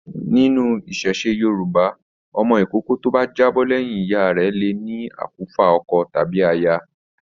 Nínú iṣẹṣe Yorùbá, ọmọ ìkókó to bá já bọ́ lẹyìn ìyá le ní akufa ọkọ tàbí aya.